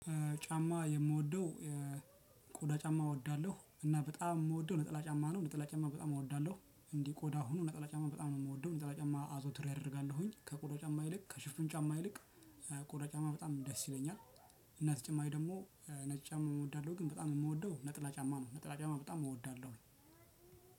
ጫማ የምወደው ቆዳ ጫማ እወዳለሁ እና በጣም የምወደው ነጠላ ጫማ ነው። ነጠላ ጫማ በጣም እወዳለሁ እንዲህ ቆዳ ሆኖ ነጠላ ጫማ በጣም ነው የምወደው ነጠላ ጫማ አዞትሬ አደርጋለሁኝ ከቆዳ ጫማ ይልቅ ከሽፍን ጫማ ይልቅ ቆዳ በጣም ደስ ይለኛል። እና ተጨማሪ ደግሞ ነጭ ጫማ እወዳለሁ። ግን በጣም የምወደው ነጠላ ጫማ ነው። ነጠላ ጫማ በጣም እወዳለሁ።